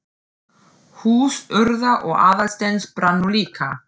Hús Urðar og Aðalsteins brann nú líka.